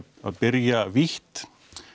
byrja vítt